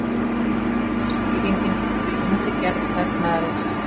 Skýringin liggur í innri gerð vefnaðarins.